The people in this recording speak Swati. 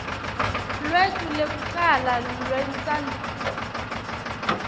lwetfu lwekucala lwentsandvo